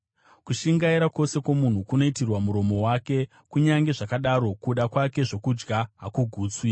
Kushingaira kwose kwomunhu kunoitirwa muromo wake, kunyange zvakadaro kuda kwake zvokudya hakugutswi.